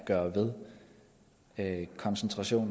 at